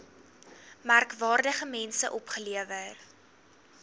merkwaardige mense opgelewer